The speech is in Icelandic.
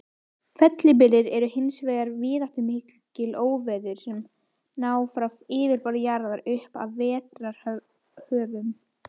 Fellibyljir eru hins vegar víðáttumikil óveður sem ná frá yfirborði jarðar upp að veðrahvörfum.